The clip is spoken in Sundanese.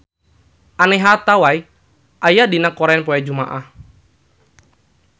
Anne Hathaway aya dina koran poe Jumaah